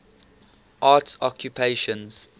arts occupations